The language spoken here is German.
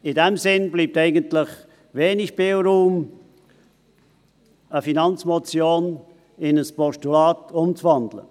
In diesem Sinn bleibt eigentlich wenig Spielraum, eine Finanzmotionen in ein Postulat umzuwandeln.